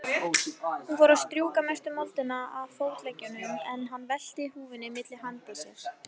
Hún fór að strjúka mestu moldina af fótleggjunum, en hann velti húfunni milli handa sér.